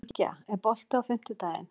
Bylgja, er bolti á fimmtudaginn?